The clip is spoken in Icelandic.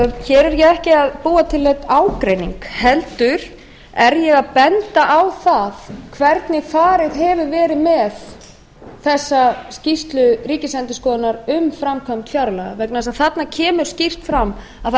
hér er ég ekki að búa til neinn ágreining heldur er ég að benda á það hvernig farið hefur verið með þessa skýrslu ríkisendurskoðunar um framkvæmd fjárlaga vegna þess að þarna kemur skýrt fram að það